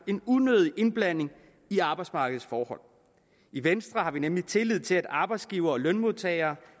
en unødig indblanding i arbejdsmarkedets forhold i venstre har vi nemlig tillid til at arbejdsgivere og lønmodtagere